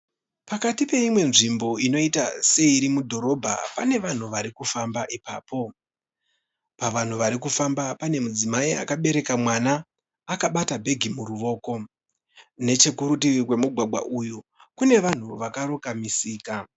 Pakati peimwe nzvimbo inoita seiri mudhorobha pane vanhu vari kufamba ipapo. Pavanhu varikufamba pane mudzimai akabereka mwana akabata bhegi muruoko. Nechekurutivi kwemugwagwa uyu kune vanhu vakaronga musika.